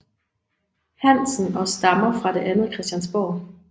Hansen og stammer fra det andet Christiansborg